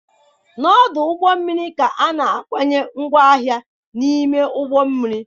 Na ọdụ ụgbọ mmiri ka a na-akwanye ngwaahịa n'ime ụgbọ mmiri.